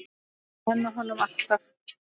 Að nenna honum, alltaf.